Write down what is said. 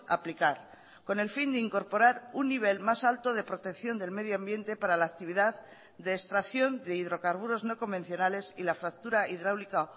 aplicar con el fin de incorporar un nivel más alto de protección del medio ambiente para la actividad de extracción de hidrocarburos no convencionales y la fractura hidráulica